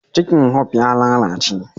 Cikin "hope" ya lallace.